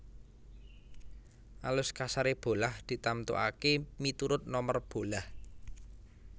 Alus kasaré bolah ditamtukaké miturut nomer bolah